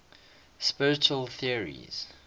spiritual theories